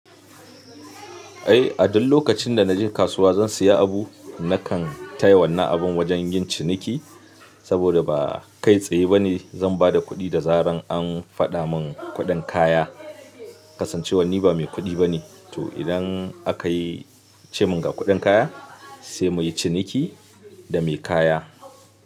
Ai a duk lokacin da naje kasuwa zan siya abu, nakan taya wannan abun wajen yin ciniki saboda ba kai tsaye bane zan bada kuɗi da zarar an faɗa mun kuɗin kaya. Kasancewan ni ba mai kuɗi bane, to idan aka ce mun ga kuɗin kaya sai muyi ciniki da mai kaya.